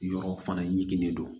Yɔrɔ fana ye kelen de don